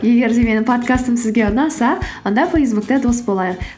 егер де менің подкастым сізге ұнаса онда фейсбукте дос болайық